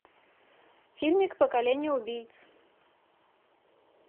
фильмик поколение убийц